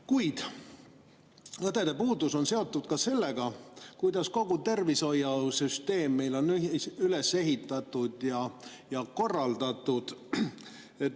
Kuid õdede puudus on seotud ka sellega, kuidas kogu tervishoiusüsteem on üles ehitatud ja korraldatud.